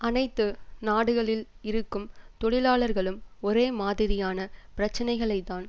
அனைத்து நாடுகளில் இருக்கும் தொழிலாளர்களும் ஒரே மாதிரியான பிரச்சினைகளைத்தான்